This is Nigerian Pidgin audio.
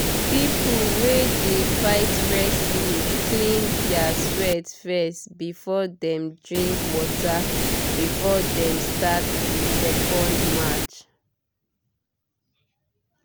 people wey dey fight wrestling clean their sweat fess before dem drink water before dem start the second match